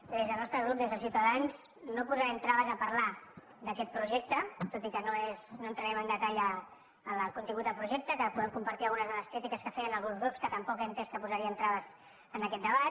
des del nostre grup des de ciutadans no posarem traves a parlar d’aquest pro·jecte tot i que no entrarem amb detall al contingut del projecte podem compartir algunes de les críti·ques que feien alguns grups que he entès que tampoc posarien traves a aquest debat